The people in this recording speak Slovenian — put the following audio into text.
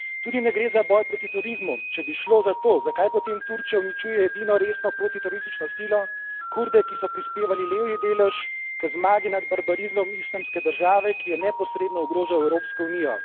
Tudi ne gre za boj proti terorizmu, če bi šlo za to, zakaj potem Turčija uničuje edino resno protiteroristično silo, Kurde, ki so prispevali levji delež k zmagi nad barbarizmom islamske države, ki je neposredno ogrožal Evropsko unijo.